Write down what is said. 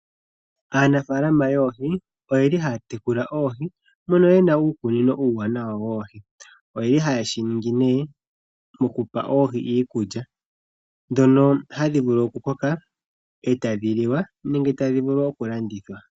Aanafalama yoohi oyeli haya tekula oohi mono yena uukunino uuwanawa woohi. Oyeli haye shiningi ne mokupa oohi iikulya , ndhono hadhi vulu okukoka etadhi liwa nenge tadhi vulu okulandithwa.